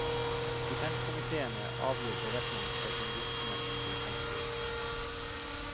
Stipendkomiteene avgir beretning for sin virksomhet til fondsstyret.